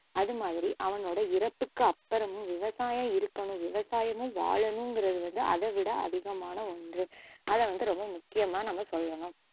அதுமாதிரி அவனோட இறப்புக்கு அப்பறமும் விவசாயம் இருக்கணும் விவசாயமும் வாழணுங்குறது வந்து அதைவிட அதிகமான ஒன்று அதைவந்து ரொம்ப முக்கியமா நம்ம சொல்லணும்